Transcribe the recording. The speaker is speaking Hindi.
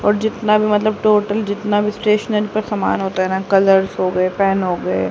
और जितना भी मतलब टोटल जितना भी स्टेशनरी का समान होता है ना कलर्स हो गए पेन हो गए।